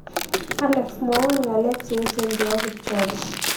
Alex mwawon ng'alek che echen che po kipchoge